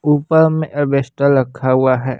ऊपर में अवेस्टल रखा हुआ है।